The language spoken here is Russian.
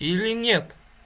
или нет